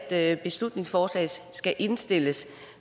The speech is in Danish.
at beslutningsforslaget skal indstilles